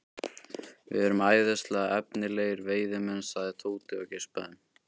Við erum æðislega efnilegir veiðimenn sagði Tóti og geispaði.